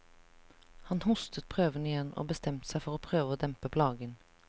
Han hostet prøvende igjen, og bestemte seg for å prøve å dempe plagen.